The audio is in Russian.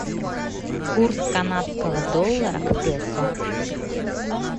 курс канадского доллара к песо